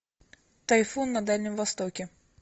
тайфун на дальнем востоке